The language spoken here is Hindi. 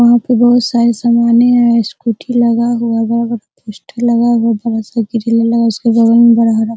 वहां पे बहुत सारे समाने है स्कूटी लगा हुआ है वहां पे पोस्टर लगा हुआ है बहुत सारा ग्रिल लगा उसके बगल में हरा-हरा --